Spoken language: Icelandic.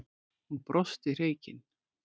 Hún brosti hreykin.